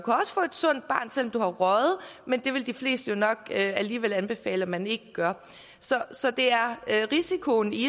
sundt barn selv om du har røget men det vil de fleste nok alligevel anbefale man ikke gør så så det er risikoen i det